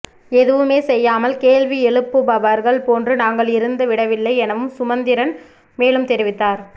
எதுவுமேசெய்யாமல் கேள்வி எழுப்புபவர்கள் போன்று நாங்கள் இருந்து விடவில்லை எனவும் சுமந்திரன் மேலும் தெரிவித்தார்